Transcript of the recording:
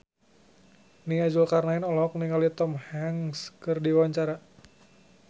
Nia Zulkarnaen olohok ningali Tom Hanks keur diwawancara